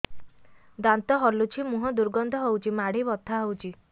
ଦାନ୍ତ ହଲୁଛି ମୁହଁ ଦୁର୍ଗନ୍ଧ ହଉଚି ମାଢି ବଥା ହଉଚି